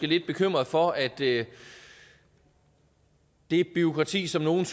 lidt bekymrede for at det det bureaukrati som nogle